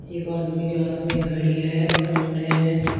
एक आदमी के हाथ में एक घड़ी है फोन है।